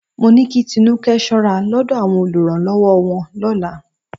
Mó ní kí Tinúkẹ́ ṣọ́ra lọ́dọ̀ àwọn olùrànlọ́wọ́ wọn lọ́la